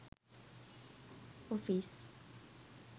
office